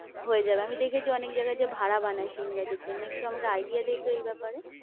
হয়ে যাবে, আমি দেখেছি অনেক জায়গায় যে ভাড়া বানায় সিম গাছের জন্যে, একটু আমাকে idea দে তো এই ব্যাপারে?